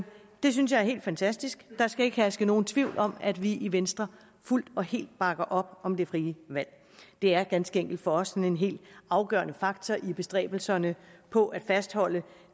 det synes jeg er helt fantastisk der skal ikke herske nogen tvivl om at vi i venstre fuldt og helt bakker op om det frie valg det er ganske enkelt for os en helt afgørende faktor i bestræbelserne på at fastholde